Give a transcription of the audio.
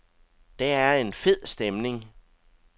Der er en fed stemning.